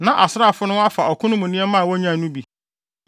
Na asraafo no afa ɔko no mu nneɛma a wonyae no bi.